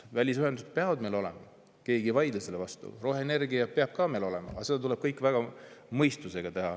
Välisühendused peavad meil olema, keegi ei vaidle sellele vastu, roheenergia peab meil ka olema, aga seda kõike tuleb mõistusega teha.